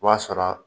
O b'a sɔrɔ